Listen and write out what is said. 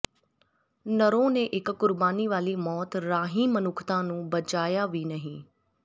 ਨਰੋ ਨੇ ਇਕ ਕੁਰਬਾਨੀ ਵਾਲੀ ਮੌਤ ਰਾਹੀਂ ਮਨੁੱਖਤਾ ਨੂੰ ਬਚਾਇਆ ਵੀ ਨਹੀਂ